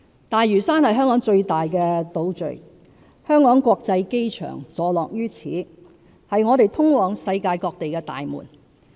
大嶼山是香港最大的島嶼，香港國際機場坐落於此，是我們通往世界各地的大門。